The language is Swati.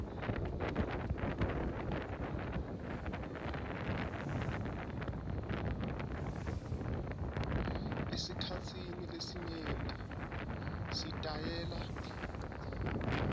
esikhatsini lesinyenti sitayela